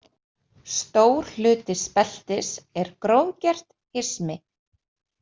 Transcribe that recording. Stór hluti speltis er grófgert hismi.